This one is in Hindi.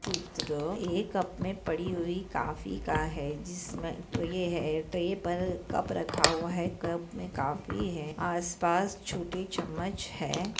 चित्र है कप मे पड़ी हुई काफी का है जिसमे ट्रे है ट्रे पर कप रखा हुआ है कप मे कॉपी है आसपास छोटी चमच है।